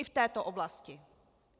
I v této oblasti.